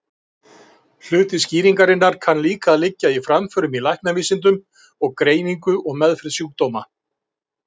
Hluti skýringarinnar kann líka að liggja í framförum í læknavísindum og greiningu og meðferð sjúkdóma.